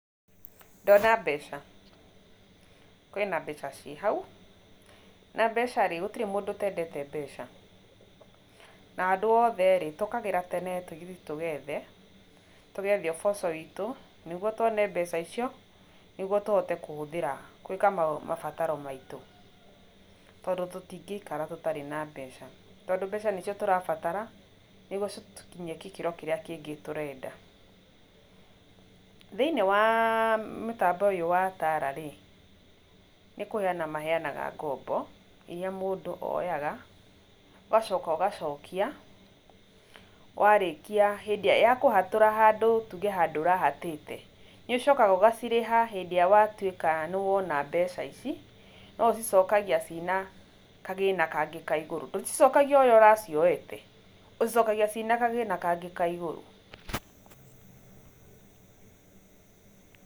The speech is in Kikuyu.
Ndona mbeca, kwĩna mbeca ciĩ hau na mbeca rĩ gũtirĩ mũndũ ũtendete mbeca na andũ othe rĩ tũkagĩra tene tũthiĩ tũgethe, tũgethe ũboco witũ nĩguo twone mbeca icio nĩguo tũhote kũhũthĩra gwĩka mabataro maitũ, tondũ tũtingĩikara tũtarĩ na mbeca, tondũ mbeca nĩcio tũrabatara nĩguo citũkinyie gĩkĩro kĩrĩa kĩngĩ tũrenda, thĩinĩ wa mũtambo ũyũ wa TALA rĩ nĩkũheana maheanaga ngombo iria mũndũ oyaga, ũgacoka ũgacokia warĩkia, ya kũhatũra handũ tuge handũ ũrahatĩte nĩ ũcokaga ũgacirĩha hĩndĩ ĩrĩa watuĩka nĩwona mbeca ici no ũcicokagia ciĩ na kagĩna kangĩ ka igũrũ ndũcicokagia ũrĩ aũracioete, ũcicokagia ciĩ na kagĩna kangĩ ka igũrũ.